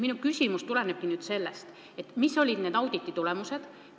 Minu küsimus ongi nüüd, mis olid selle auditi tulemused.